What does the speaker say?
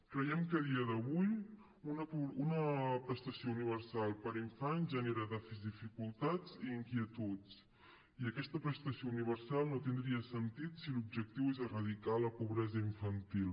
creiem que a dia d’avui una prestació universal per a infants genera dificultats i inquietuds i aquesta prestació universal no tindria sentit si l’objectiu és erradicar la pobresa infantil